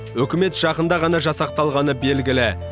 үкімет жақында ғана жасақталғаны белгілі